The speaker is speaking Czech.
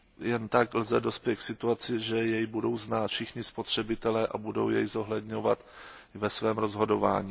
Jen tak lze dospět k situaci, že jej budou znát všichni spotřebitelé a budou jej zohledňovat ve svém rozhodování.